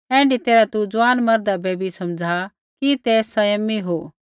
ऐण्ढी तैरहा तू ज़ुआन मर्दा बै भी समझ़ा कि ते सँयमी हो